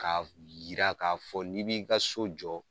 K'a yira ka fɔ n'i b'i ka so jɔ